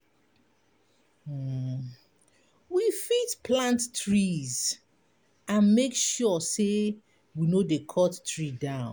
We fit plant tress and make sure sey we no dey cut tree down